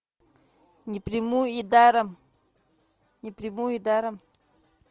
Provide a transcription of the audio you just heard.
не приму и даром не приму и даром